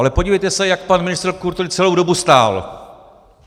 Ale podívejte se, jak pan ministr kultury celou dobu stál.